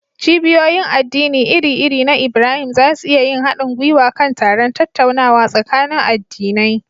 Cibiyoyin addini iri-iri na Ibrahim za su iya yin haɗin gwiwa kan taron tattaunawa tsakanin addinai.